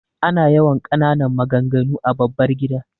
Ana yawan ƙananan maganganu a babbar gida.